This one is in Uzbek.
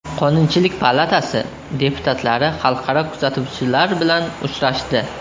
Qonunchilik palatasi deputatlari xalqaro kuzatuvchilar bilan uchrashdi.